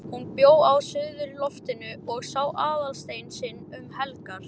HÚN bjó á suðurloftinu og sá Aðalstein sinn um helgar.